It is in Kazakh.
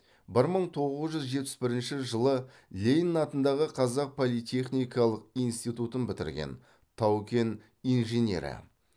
бір мың тоғыз жүз жетпіс бірінші жылы ленин атындағы қазақ политехникалық институтын бітірген тау кен инженері